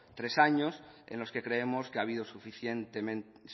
tres años en los que creemos que ha habido